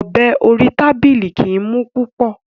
Ọ̀bẹ orí tábìlì kìí mú púpọ̀.